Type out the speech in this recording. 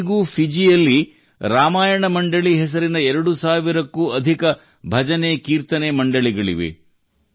ಇಂದಿಗೂ ಫಿಜಿಯಲ್ಲಿ ರಾಮಾಯಣ ಮಂಡಳಿ ಹೆಸರಿನ ಎರಡು ಸಾವಿರಕ್ಕೂ ಅಧಿಕ ಭಜನೆಕೀರ್ತನೆ ಮಂಡಳಿಗಳಿವೆ